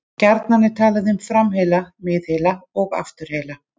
Gjarnan er talað um framheila, miðheila og afturheila.